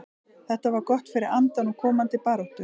Þetta var gott fyrir andann og komandi baráttu.